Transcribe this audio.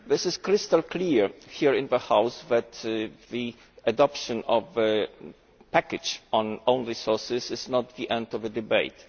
It is crystal clear here in the House that the adoption of the package on own resources is not the end of the debate.